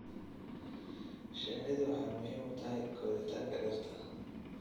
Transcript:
Shinnidu waxay muhiim u tahay koritaanka dhirta.